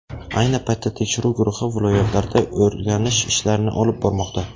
Ayni paytda tekshiruv guruhi viloyatlarda o‘rganish ishlarini olib bormoqda.